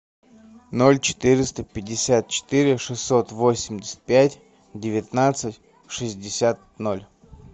ноль четыреста пятьдесят четыре шестьсот восемьдесят пять девятнадцать шестьдесят ноль